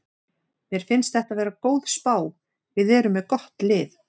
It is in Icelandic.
Mér finnst þetta vera góð spá, við erum með gott lið.